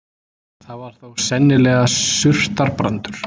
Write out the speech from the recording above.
Það var þó sennilega surtarbrandur.